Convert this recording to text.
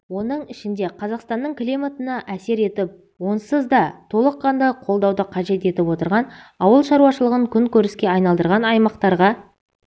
оның ішінде қазақстанның климатына әсер етіп онсыз да толыққанды қолдауды қажет етіп отырған ауыл шаруашылығын күнкөріске айналдырған аймақтарға